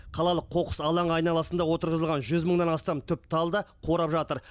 қалалық қоқыс алаңы айналасында отырғызылған жүз мыңнан астам түп тал да қурап жатыр